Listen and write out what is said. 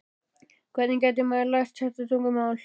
Hvernig gæti maður lært þetta tungumál?